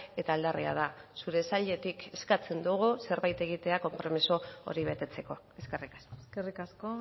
eta aldarria da zure sailetik eskatzen dugu zerbait egitea konpromiso hori betetzeko eskerrik asko eskerrik asko